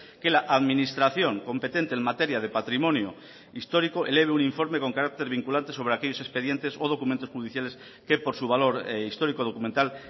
que la administración competente en materia de patrimonio histórico eleve un informe con carácter vinculante sobre aquellos expedientes o documentos judiciales que por su valor histórico documental